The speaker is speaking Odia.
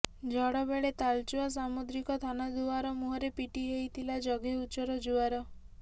ଝଡ଼ ବେଳେ ତାଳଚୁଆ ସାମୁଦ୍ରିକ ଥାନା ଦୁଆର ମୁହଁରେ ପିଟି ହେଇଥିଲା ଜଙ୍ଘେ ଉଚ୍ଚର ଜୁଆର